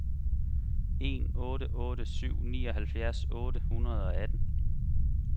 en otte otte syv nioghalvfjerds otte hundrede og atten